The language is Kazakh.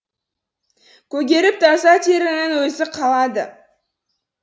көгеріп таза терінің өзі қалады